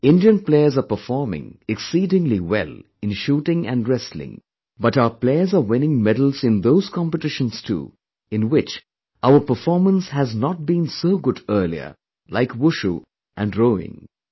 Indian players are performing exceedingly well in shooting and wrestling but our players are winning medals in those competitions too, in which our performance has not been so good earlierlike WUSHU and ROWING